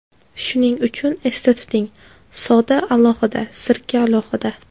Shuning uchun esda tuting: soda alohida, sirka alohida.